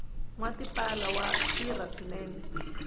nwa tipala wa tirha swinene